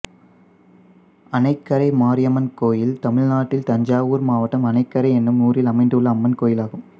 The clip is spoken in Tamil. அணைக்கரை மாரியம்மன் கோயில் தமிழ்நாட்டில் தஞ்சாவூர் மாவட்டம் அணைக்கரை என்னும் ஊரில் அமைந்துள்ள அம்மன் கோயிலாகும்